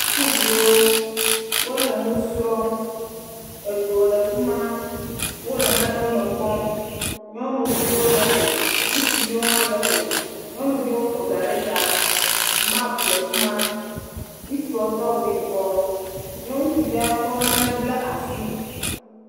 Sukuviwo, wole nu srɔ̃m, edzo le fi ma, wole nanewo me kpɔm. Nyɔnuviwo le me, ŋutsuviwo hã le me, nyɔnuviwo ƒo ɖa ɖe ta, map le fi ma, ŋutsuawo do awu yibe ye ŋutsuawo kɔ nane bla asi.